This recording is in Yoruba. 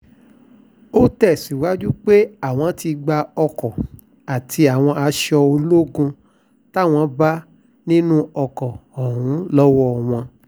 ó tẹ̀síwájú pé àwọn ti gba ọkọ̀ àti àwọn aṣọ ológun táwọn bá nínú ọkọ̀ ọ̀hún lọ́wọ́ wọn